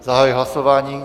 Zahajuji hlasování.